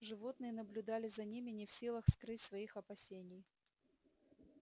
животные наблюдали за ними не в силах скрыть своих опасений